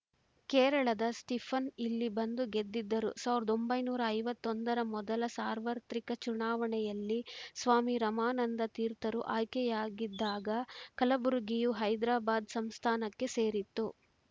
ಕೇರಳದ ಸ್ಟೀಫನ್‌ ಇಲ್ಲಿ ಬಂದು ಗೆದ್ದಿದ್ದರು ಸಾವಿರದ ಒಂಬೈನೂರ ಐವತ್ತ್ ಒಂದರ ಮೊದಲ ಸಾರ್ವತ್ರಿಕ ಚುನಾವಣೆಯಲ್ಲಿ ಸ್ವಾಮಿ ರಮಾನಂದ ತೀರ್ಥರು ಆಯ್ಕೆಯಾಗಿದ್ದಾಗ ಕಲಬುರಗಿಯು ಹೈದ್ರಾಬಾದ್‌ ಸಂಸ್ಥಾನಕ್ಕೆ ಸೇರಿತ್ತು